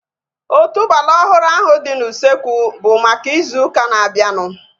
Otuboala ọhụrụ ahu dị n'usekwu bụ maka ịzụ ụka na-abianu